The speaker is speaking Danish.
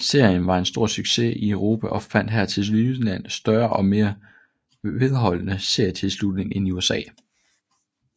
Serien var en stor succes i Europa og fandt her tilsyneladende større og mere vedholdende seertilslutning end i USA